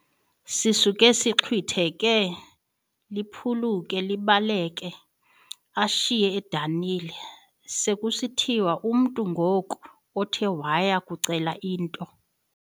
sisuke sixhwitheke, liphuluke, libaleke ashiyeke edanile. sekusithiwa umntu ngoku othe waya kucela into